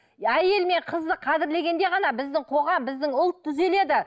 әйел мен қызды қадірлегенде ғана біздің қоғам біздің ұлт түзеледі